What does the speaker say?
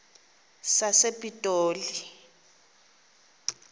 sasepitoli